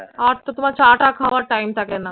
আর তো তোমার চা টা খাওয়ার time থাকে না?